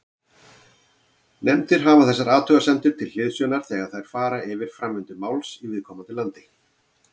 Nefndir hafa þessar athugasemdir til hliðsjónar þegar þær fara yfir framvindu mála í viðkomandi landi.